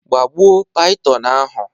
gbagbuo python ahụ!